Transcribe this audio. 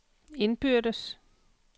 indbyrdes